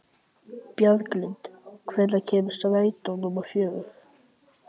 Bjarglind, hvenær kemur strætó númer fjögur?